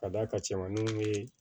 Ka d'a ka cɛmaninw ye